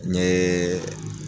N ɲee